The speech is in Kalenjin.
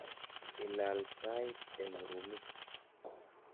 Ilal tait eng rumit.